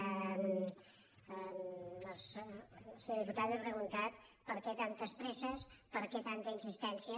el senyor diputat m’ha pre·guntat per què tantes presses per què tanta insistèn·cia